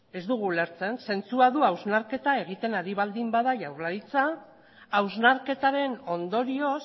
ez dugu ulertzen zentsua du hausnarketa egiten ari baldin bada jaurlaritza hausnarketaren ondorioz